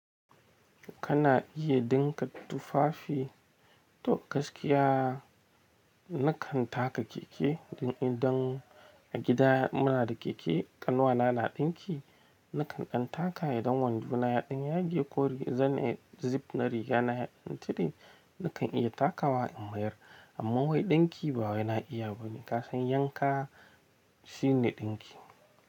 Kana iya ɗinka tufafi. To gaskiya nakan taka keke don idan a gida muna da keke ƙanwana na ɗinki, nakan ɗan taka idan wando na yaɗin ya gaye ko zan yi zip na riga na yaɗin tide nakan iya takawa in mayar. Amma wai ɗinki ba wai na iya bane, ka san yanka shi ne ɗinki.